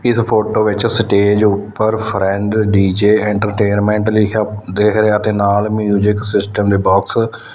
ਇਸ ਫੋਟੋ ਵਿੱਚ ਸਟੇਜ ਉੱਪਰ ਫਰੈਂਡ ਡੀ_ਜੇ ਐਂਟਰਟੇਨਮੈਂਟ ਲਿਖਿਆ ਦੇਖ ਰਿਹਾ ਤੇ ਨਾਲ ਮਿਊਜਿਕ ਸਿਸਟਮ ਦੇ ਬੋਕਸ ।